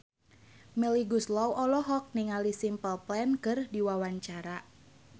Melly Goeslaw olohok ningali Simple Plan keur diwawancara